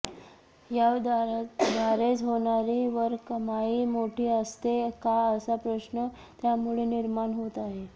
याद्वारेच होणारी वरकमाई मोठी असते का असा प्रश्न त्यामुळे निर्माण होत आहे